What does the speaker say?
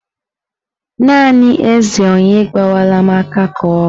Naanị eze onye agwala m ka ọ bụ